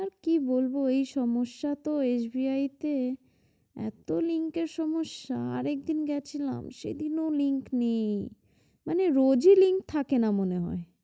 আহ কি বলব ওই সমস্যা তো SBI তে এত link এর সমস্যা আর একদিন গেছিলাম সেদিনও link নেই মানে রোজই link থাকে না মনে হয়।